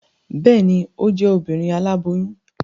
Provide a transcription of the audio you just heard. Bẹẹni, o jẹ Obìnrin aláboyún